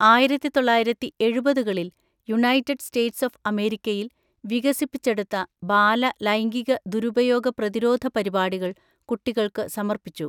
ആയിരത്തിതൊള്ളയിരത്തിഎഴുപതികളിൽ United States of അമേരിക്കയിൽ വികസിപ്പിച്ചെടുത്ത ബാല ലൈംഗിക ദുരുപയോഗ പ്രതിരോധ പരിപാടികൾ കുട്ടികൾക്ക് സമർപ്പിച്ചു .